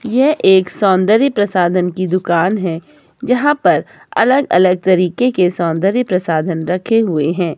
यह एक सौंदर्य प्रसाधन की दुकान है यहां पर अलग अलग तरीके के सौंदर्य प्रसाधन रखे हुए हैं।